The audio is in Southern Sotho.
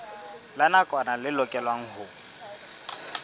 la nakwana le lokelwang ho